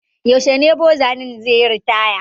Yaushe ne boza nan zai yi ritaya?